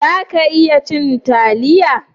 Za ki iya cin taliya?